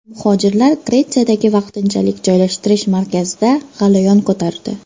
Muhojirlar Gretsiyadagi vaqtinchalik joylashtirish markazida g‘alayon ko‘tardi.